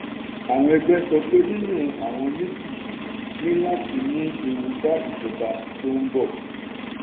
àwọn ẹgbẹ́ sọ pé yíyan àwọn méjì yìí ní láti mú ewu bá ìjọba tó ń bọ̀.